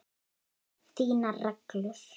Þínar reglur?